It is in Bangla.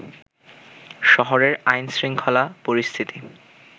শহরের আইনশৃংখলা পরিস্থিতি